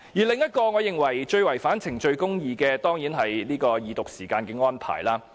另一個我認為最違反程序公義的地方，當然是二讀時間的安排。